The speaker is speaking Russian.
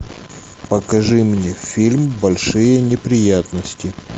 покажи мне фильм большие неприятности